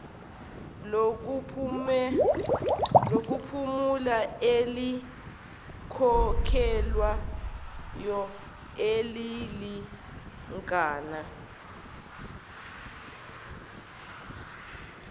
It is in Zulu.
lokuphumula elikhokhelwayo elilingana